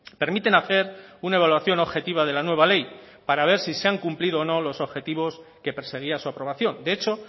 permiten hacer una evaluación objetiva de la nueva ley para ver si se han cumplido o no los objetivos que perseguía su aprobación de hecho